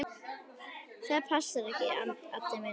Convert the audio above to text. Það passar ekki, Addi minn.